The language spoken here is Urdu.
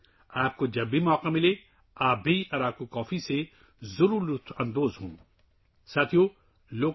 جب بھی آپ کو موقع ملے آپ کو اراکو کافی سے بھی لطف اندوز ہونا چاہیے